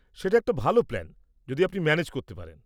সেটা একটা ভাল প্ল্যান, যদি আপনি ম্যানেজ করতে পারেন।